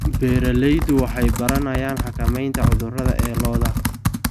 Beeraleydu waxay baranayaan xakameynta cudurrada ee lo'da.